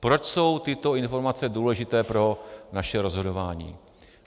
Proč jsou tyto informace důležité pro naše rozhodování?